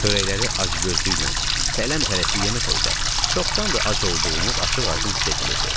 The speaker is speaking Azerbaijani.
Xörəkləri acgözlüklə tələm-tələsik yeməsəy də, çoxdandır ac olduğumuz açıq-aydın hiss edilirdi.